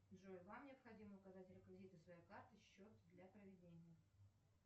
джой вам необходимо указать реквизиты своей карты счет для проведения